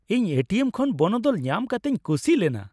ᱤᱧ A T M ᱠᱷᱚᱱ ᱵᱚᱱᱚᱫᱚᱞ ᱧᱟᱢ ᱠᱟᱛᱤᱧ ᱠᱩᱥᱤ ᱞᱮᱱᱟ